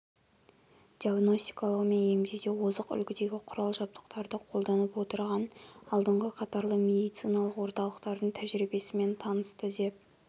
диагностикалау мен емдеуде озық үлгідегі құрал-жабдықтарды қолданып отырған алдыңғы қатарлы медициналық орталықтардың тәжірибесімен танысты деп